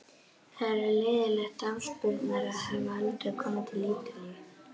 Það er leiðinlegt afspurnar að hafa aldrei komið til Ítalíu.